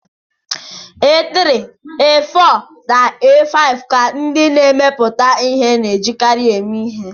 A3, A4 na A5 ka ndị na-emepụta ihe na-ejikarị eme ihe.